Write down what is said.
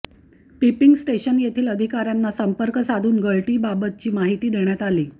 पपिंग station येथील अधिकाऱयांना संर्पक साधून गळती बाबतची माहिती देण्यात आली